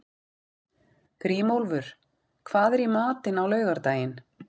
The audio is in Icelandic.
Grímólfur, hvað er í matinn á laugardaginn?